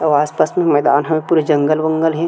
अउ आसपास म मैदान ह पूरा जंगल-वंगल हे।